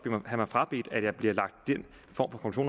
have mig frabedt at jeg bliver lagt den form for